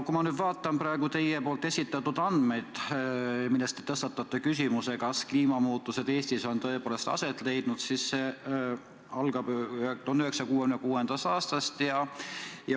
Kui ma vaatan teie esitatud andmeid, millega te tõstatate küsimuse, kas kliimamuutused Eestis on tõepoolest aset leidnud, siis näen, et need algavad 1966. aastast.